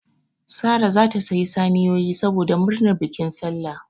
Sara zata sayi saniyoyi saboda murnar bikin sallah